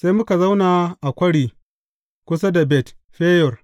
Sai muka zauna a kwari kusa da Bet Feyor.